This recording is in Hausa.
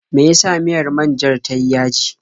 Me ya sa miyar man-jar ta yi yaji.